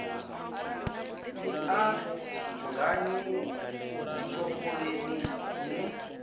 i anganyi ḓi topoleni ni